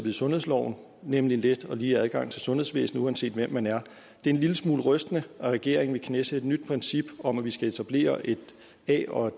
i sundhedsloven nemlig en let og lige adgang til sundhedsvæsenet uanset hvem man er det er en lille smule rystende at regeringen at knæsætte et nyt princip om at vi skal etablere a og